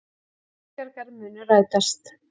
Ísbjargar munu rætast.